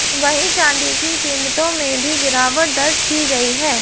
वहीं चांदी की कीमतों में भी गिरावट दर्ज की गई है